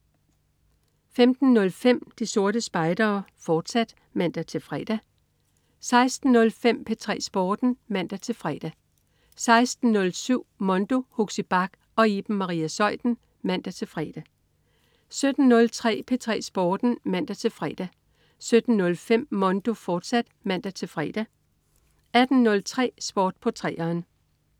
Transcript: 15.05 De Sorte Spejdere, fortsat (man-fre) 16.05 P3 Sporten (man-fre) 16.07 Mondo. Huxi Bach og Iben Maria Zeuthen (man-fre) 17.03 P3 Sporten (man-fre) 17.05 Mondo, fortsat (man-fre) 18.03 Sport på 3'eren